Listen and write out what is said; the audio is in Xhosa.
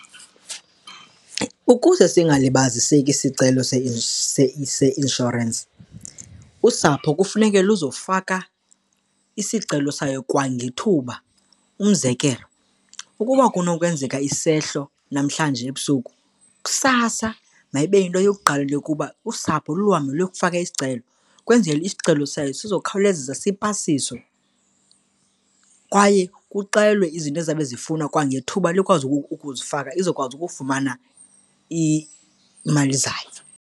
Ukuze singalibaziseki isisicelo seinshorensi, usapho kufuneka luzofaka isicelo sayo kwangethuba. Umzekelo, ukuba kunokwenzeka isehlo namhlanje ebusuku, kusasa mayibe yinto yokuqala ukuba usapho luhambe luyokufaka isicelo. Kwenzele isicelo sayo sizawukhawulezisa sipasiswe kwaye kuxelwe izinto ezizabe zifunwa kwangethuba likwazi ukuzifaka, izokwazi ukufumana iimali zayo.